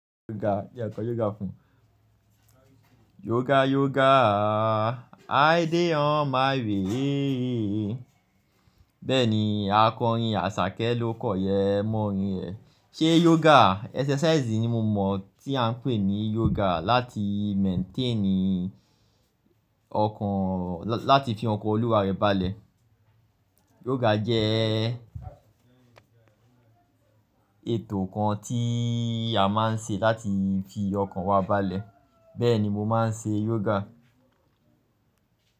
Yoga, jẹ́ ǹ kọ yoga fún yoga yoga, i dey on my way. Bẹ́ẹ̀ ni a kọ orin Àṣàkẹ́ ló kọ yẹ mọ orin ẹ̀. Ṣé yoga exercise ni mo mọ̀ tí à ń pè ní yoga láti maintain ọkàn, lá-láti fi ọkàn Olúwa rẹ balẹ̀. Yoga jẹ́ ètò kan tí a máa ń ṣe láti fi ọkàn wa balẹ̀, bẹ́ẹ̀ ni mo máa ń ṣe yoga.